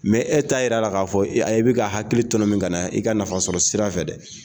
Mɛ e t'a jira k'a fɔ a ye k'e bɛ ka hakili tɔnɔmin ka na i ka nafasɔrɔ sira fɛ dɛ.